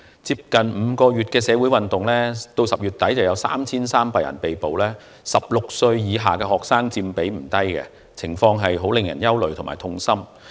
在近5個月來的社會運動中，截至10月底已有3300人被捕，而16歲以下學生所佔的比率不低，情況令人憂慮和痛心。